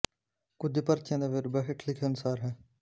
ਕੁਝ ਪਰਚੀਆਂ ਦਾ ਵੇਰਵਾ ਹੇਠ ਲਿਖੇ ਅਨੁਸਾਰ ਹੈ